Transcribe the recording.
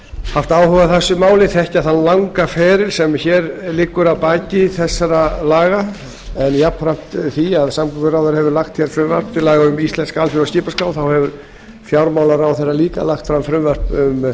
haft áhuga á þessu máli þann langa feril sem liggur að baki þessum lögum jafnframt því að samgönguráðherra hefur lagt fram frumvarp um íslenska alþjóðlega skipaskrá hefur fjármálaráðherra líka lagt fram frumvarp um